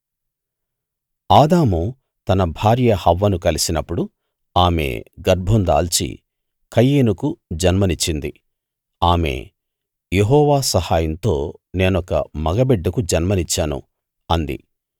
ఆదాము తన భార్య హవ్వను కలిసినప్పుడు ఆమె గర్భం దాల్చి కయీనుకు జన్మనిచ్చింది ఆమె యెహోవా సహాయంతో నేనొక మగ బిడ్డకు జన్మనిచ్చాను అంది